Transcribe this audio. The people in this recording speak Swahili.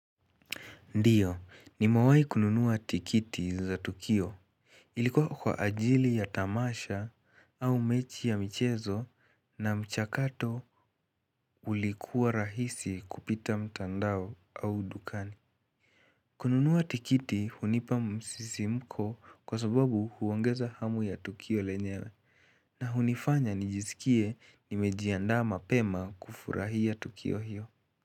Ndiyo, nimewai kununua tikiti za Tukio. Ilikuwa kwa ajili ya tamasha au mechi ya michezo na mchakato ulikuwa rahisi kupita mtandao au dukani. Kununua tikiti hunipa msisimko kwa sababu huongeza hamu ya Tukio lenyelewe na hunifanya nijisikie nimejiandaa mapema kufurahia Tukio hiyo.